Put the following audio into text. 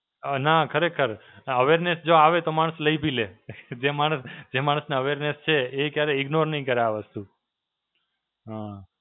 ના ખરેખર, Awareness જો આવે તો માણસ લઈ બી લે. જે માણસ, જે માણસને Awareness છે, એ ક્યારે ignore નહીં કરે આ વસ્તુ. હાં.